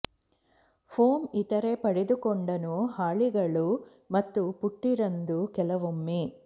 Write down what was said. foam ಇತರೆ ಪಡೆದುಕೊಂಡನು ಹಾಳೆಗಳು ಮತ್ತು ಪುಟ್ಟಿ ರಂದು ಕೆಲವೊಮ್ಮೆ